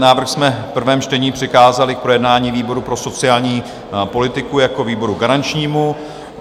Návrh jsme v prvém čtení přikázali k projednání výboru pro sociální politiku jako výboru garančnímu.